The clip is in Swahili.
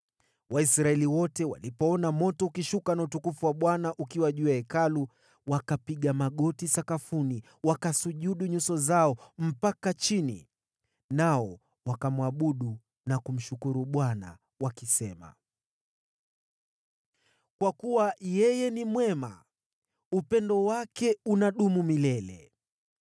Waisraeli wote walipoona moto ukishuka na utukufu wa Bwana ukiwa juu ya Hekalu, wakapiga magoti sakafuni wakasujudu nyuso zao mpaka chini, nao wakamwabudu na kumshukuru Bwana wakisema, “Yeye ni mwema; upendo wake unadumu milele.”